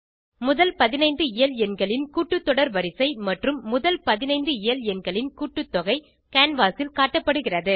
முதல் 15 இயல்எண்களின் கூட்டு தொடர் வரிசை மற்றும் முதல் 15 இயல் எண்களின் கூட்டுத்தொகைக் கேன்வாஸ் ல் காட்டப்படுகிறது